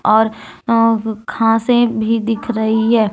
और घासें भी दिख रही है।